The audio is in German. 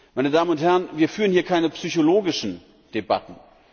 Meine Damen und Herren, wir führen hier keine psychologischen Debatten!